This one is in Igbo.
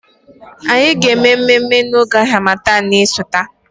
Anyị ga-eme mmemme na oge harmattan na-esote